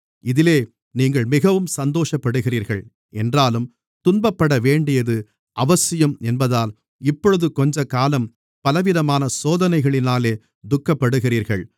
இதிலே நீங்கள் மிகவும் சந்தோஷப்படுகிறீர்கள் என்றாலும் துன்பப்படவேண்டியது அவசியம் என்பதால் இப்பொழுது கொஞ்சக்காலம் பலவிதமான சோதனைகளினாலே துக்கப்படுகிறீர்கள்